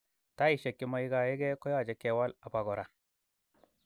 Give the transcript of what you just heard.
Taishek che maigaegee koyoche kewal apogora